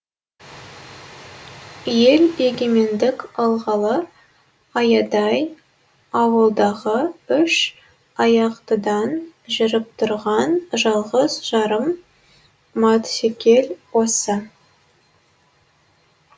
ел егемендік алғалы аядай ауылдағы үш аяқтыдан жүріп тұрған жалғыз жарым матсекел осы